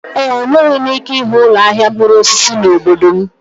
Enweghị m ike ịhụ ụlọ ahịa mkpụrụ osisi n'obodo m.